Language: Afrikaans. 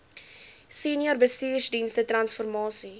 senior bestuursdienste transformasie